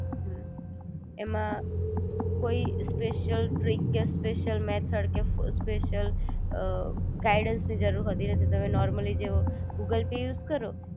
હમ એમા કોઈ special trick કે સ્પેશિયલ મેથડ કે સ્પેશિયલ અ ગાઈડન્સ ની જરૂર હોતી નથી તમે નૉર્મલી જે ગૂગલ પે યુઝ કરો